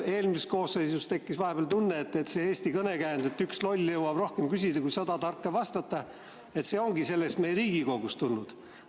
Eelmises koosseisus tekkis vahepeal tunne, et see Eesti kõnekäänd, et üks loll jõuab rohkem küsida kui sada tarka vastata, ongi meie Riigikogust tulnud.